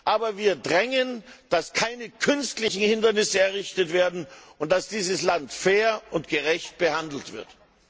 Aber wir drängen darauf, dass keine künstlichen Hindernisse errichtet werden und dass dieses Land fair und gerecht behandelt wird.